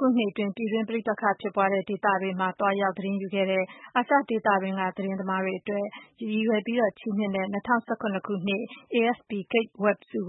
ခုနှစ်အတွင်း ပြည်တွင်းပဋိပက္ခဖြစ်ပွါးတဲ့ နေရာတွေမှာ သွားရောက်သတင်းယူတဲ့ အာရှဒေသတွင်းက သတင်းသမားတွေ အတွက် ရည်ရွယ်ပြီးချီးမြှင့်တဲ့ “၂၀၁၇ AFP Kate Webb ဆု”